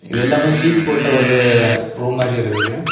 எல்லாமே சீட் போட்ட ஒரு ரூம் மாதிரி இருக்குது.